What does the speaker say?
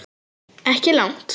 Ekki langt.